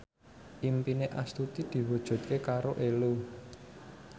impine Astuti diwujudke karo Ello